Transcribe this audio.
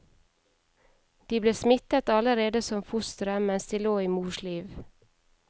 De ble smittet allerede som fostre, mens de lå i mors liv.